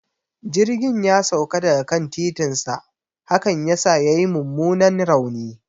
Jirgin ya sauka daga kan titinsa, hakan yasa yayi mummunan rauni